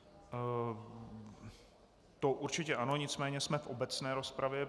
To určitě ano, nicméně jsme v obecné rozpravě.